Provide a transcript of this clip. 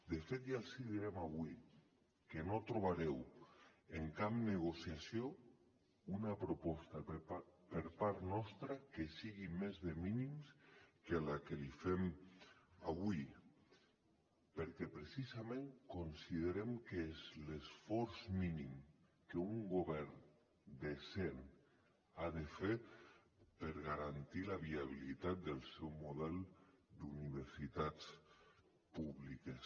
de fet ja els ho dèiem avui que no trobareu en cap negociació una proposta per part nostra que sigui més de mínims que la que els fem avui perquè precisament considerem que és l’esforç mínim que un govern decent ha de fer per garantir la viabilitat del seu model d’universitats públiques